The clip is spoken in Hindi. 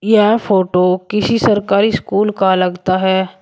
यह फोटो किसी सरकारी स्कूल का लगता है।